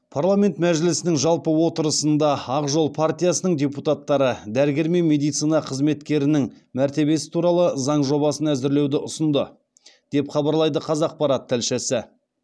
парламент мәжілісінің жалпы отырысында ақ жол партиясының депутаттары дәрігер мен медицина қызметкерінің мәртебесі туралы заң жобасын әзірлеуді ұсынды деп хабарлайды қазақпарат тілшісі